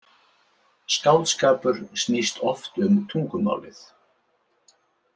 Skáldskapur snýst oft um tungumálið.